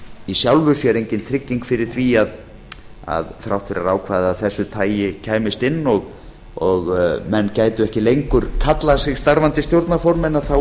í sjálfu sér engin trygging fyrir því að þrátt fyrir að ákvæði af þessu tagi kæmist inn og menn gætu ekki lengur kallað sig starfandi stjórnarformenn